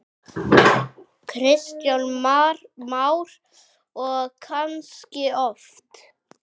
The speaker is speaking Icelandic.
Kristján Már: Og kannski oft?